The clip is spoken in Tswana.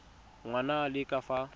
ngwana a le ka fa